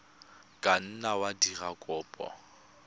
ka nna wa dira kopo